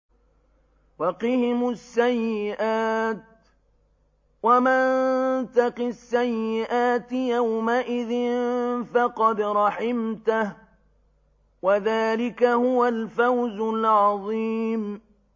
وَقِهِمُ السَّيِّئَاتِ ۚ وَمَن تَقِ السَّيِّئَاتِ يَوْمَئِذٍ فَقَدْ رَحِمْتَهُ ۚ وَذَٰلِكَ هُوَ الْفَوْزُ الْعَظِيمُ